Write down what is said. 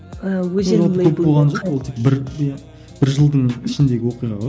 бір бір жылдың ішіндегі оқиға ғой